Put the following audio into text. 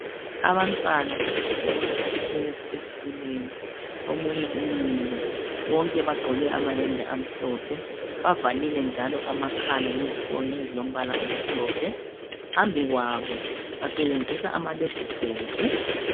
Abantwana besikolo bahlezi ezitulweni omunye umile bonke bagqoke amayembe amhlophe bavalile njalo amakhala ngezifonyo ezilombala omhlophe phambi kwabo basebenzisa amalephuthophu.